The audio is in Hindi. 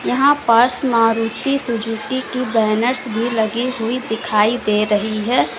यहां पास मारुति सुजुकी की बैनर्स भी लगी हुई दिखाई दे रही है।